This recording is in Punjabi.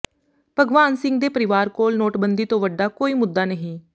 ਭਗਵਾਨ ਸਿੰਘ ਦੇ ਪਰਿਵਾਰ ਕੋਲ ਨੋਟਬੰਦੀ ਤੋਂ ਵੱਡਾ ਕੋਈ ਮੁੱਦਾ ਨਹੀਂ